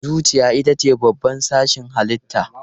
Zuciya ita ce babban sashin halitta.